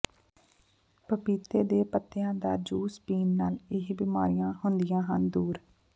ਪਪੀਤੇ ਦੇ ਪੱਤਿਆਂ ਦਾ ਜੂਸ ਪੀਣ ਨਾਲ ਇਹ ਬੀਮਾਰੀਆਂ ਹੁੰਦੀਆਂ ਹਨ ਦੂਰ